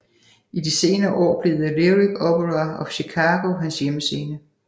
I de senere år blev The Lyric Opera of Chicago hans hjemmescene